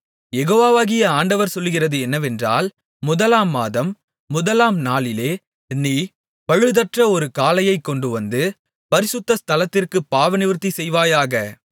யெகோவாகிய ஆண்டவர் சொல்லுகிறது என்னவென்றால் முதலாம் மாதம் முதலாம் நாளிலே நீ பழுதற்ற ஒரு காளையைக் கொண்டு வந்து பரிசுத்த ஸ்தலத்திற்குப் பாவநிவர்த்தி செய்வாயாக